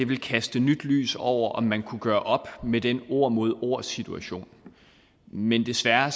ville kaste nyt lys over om man kunne gøre op med den ord mod ord situation men desværre